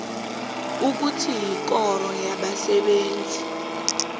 ukuthi ikoro yabasebenzi